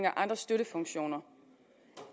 andre støttefunktioner